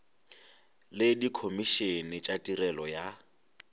le dikhomišene tša tirelo ya